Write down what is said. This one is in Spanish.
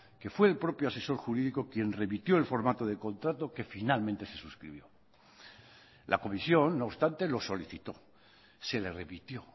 que fue el propio asesor jurídico quien remitió el formato de contrato que finalmente se suscribió la comisión no obstante lo solicitó se le remitió